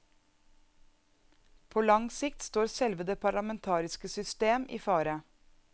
På lang sikt står selve det parlamentariske system i fare.